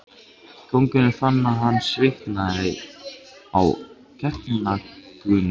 Konungur fann að hann svitnaði á gagnaugunum.